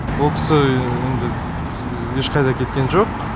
ол кісі енді ешқайда кеткен жоқ